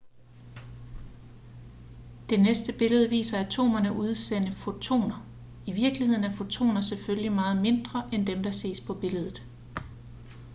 det næste billede viser atomerne udsende fotoner i virkeligheden er fotoner selvfølgelig meget mindre end dem der ses på billedet